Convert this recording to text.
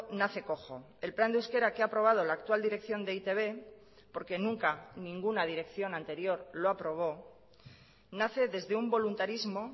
nace cojo el plan de euskera que ha aprobado la actual dirección de e i te be porque nunca ninguna dirección anterior lo aprobó nace desde un voluntarismo